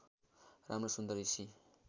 राम्रो सुन्दर हिसी